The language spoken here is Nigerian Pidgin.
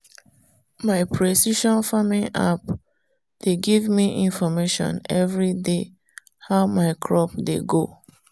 my precision farming app dey give me information every day how my crop dey go.